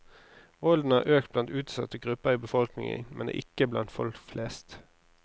Volden har økt blant utsatte grupper i befolkningen, men ikke blant folk flest.